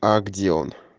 а где он